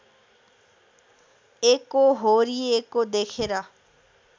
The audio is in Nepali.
एकोहोरिएको देखेर